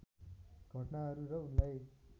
घटनाहरू र उनलाई